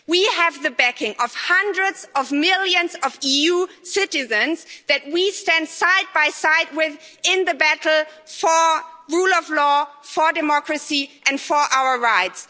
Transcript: We have the backing of hundreds of millions of EU citizens with whom we stand side by side in the battle for rule of law, for democracy and for our rights.